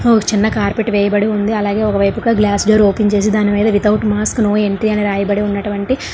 ఒక చిన్న కార్పెట్ వేయబడి ఉంది అలాగే ఒక వైపుగా గ్లాస్ డోర్ ఓపెన్ చేసి దాని మీద వితౌట్ మాస్కో నో ఎంట్రీ అని రాయబడి ఉన్నటివంటి --